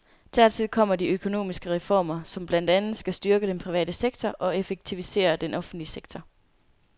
Dertil kommer de økonomiske reformer, som blandt andet skal styrke den private sektor og effektivisere den offentlige sektor.